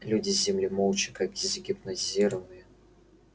люди с земли молча как загипнотизированные